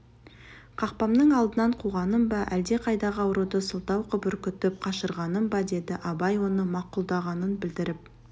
қақпамның алдынан қуғаным ба әлдеқайдағы ауруды сылтау қып үркітіп қашырғаным ба деді абай оны мақұлдағанын білдіріп